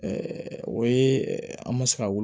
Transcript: o ye an bɛ se ka wuli